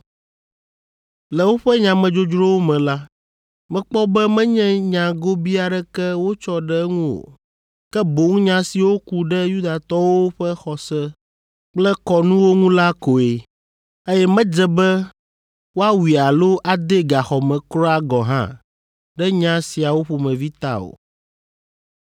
Le woƒe nyamedzodzrowo me la, mekpɔ be menye nya gobii aɖeke wotsɔ ɖe eŋu o, ke boŋ nya siwo ku ɖe Yudatɔwo ƒe xɔse kple kɔnuwo ŋu la koe, eye medze be woawui alo adee gaxɔ me kura gɔ̃ hã ɖe nya siawo ƒomevi ta o.